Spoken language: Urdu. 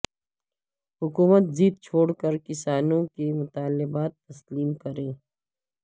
حکومت ضد چھوڑ کر کسانوں کے مطالبات تسلیم کرے